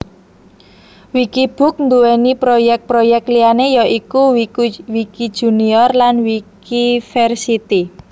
Wikibook nduwé proyèk proyèk liyané ya iku Wikijunior lan Wikiversity